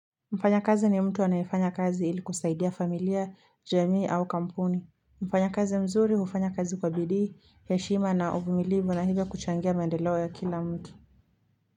Mfanya kazi ni mtu anayefanya kazi ili kusaidia familia, jamii au kampuni. Mfanya kazi mzuri hufanya kazi kwa bidii, heshima na uvumilivu na hivyo kuchangia maendeleo ya kila mtu.